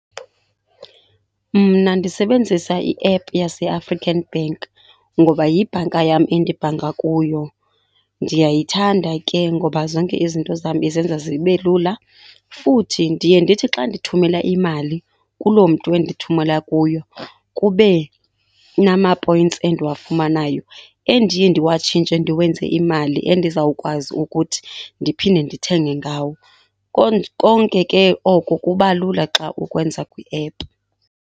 Mna ndisebenzisa iephu yaseAfrican Bank ngoba yibhanka yam endibhanka kuyo. Ndiyayithanda ke ngoba zonke izinto zam izenza zibe lula. Futhi ndiye ndithi xa ndithumela imali kuloo mntu endithumela kuye kube namapoyintsi endiwafumanayo endiye ndiwatshintshe ndiwenze imali endizawukwazi ukuthi ndiphinde ndithenge ngawo. Konke ke oko kuba lula xa ukwenza kwiephu.